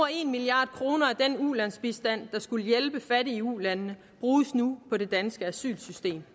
en milliard kroner af den ulandsbistand der skulle hjælpe fattige i ulandene bruges nu på det danske asylsystem